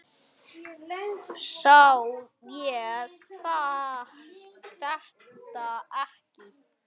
Sá ég þetta ekki?